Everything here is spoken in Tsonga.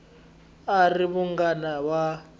a a ri munghana wa